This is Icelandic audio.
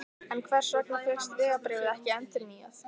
En hvers vegna fékkst vegabréfið ekki endurnýjað?